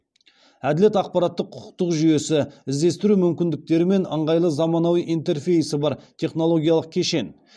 әділет ақпараттық құқықтық жүйесі іздестіру мүмкіндіктері мен ыңғайлы заманауи интерфейсі бар технологиялық кешен